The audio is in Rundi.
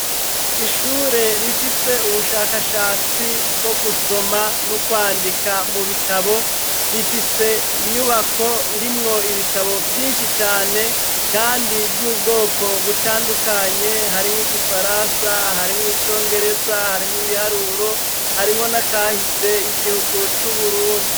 Ishure rifise ubushakashatsi bwo gusoma no kwandika mu bitabo, rifise inyubako irimwo ibitabo vyinshi cane kandi by'ubwoko butandukanye harimwo igifaransa, harimwo icongereza, harimwo ibiharuro harimwo n'akahise y'igihugu c'uburundi.